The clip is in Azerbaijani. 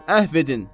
Əhv edin!